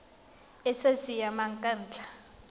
e sa siamang ka ntlha